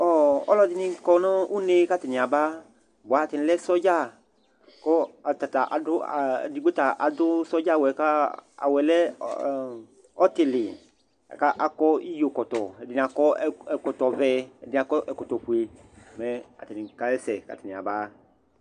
Ɔ ɔlɔdɩnɩ kɔ nʋ une kʋ atanɩ aba bʋa atanɩ lɛ sɔdza kʋ ata ta adʋ a edigbo ta adʋ sɔdza awʋ yɛ ka awʋ yɛ lɛ ɔ ɔtɩlɩ la kʋ akɔ iyokɔtɔ, ɛdɩnɩ akɔ ɛkɔtɔvɛ, ɛdɩnɩ akɔ ɛkɔtɔfue mɛ atanɩ kasɛsɛ kʋ atanɩ yaba